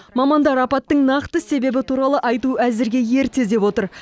мамандар апаттың нақты себебі туралы айту әзірге ерте деп отыр